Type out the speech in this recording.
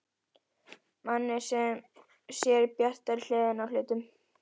Manni sem sér bjartari hliðina á hlutunum.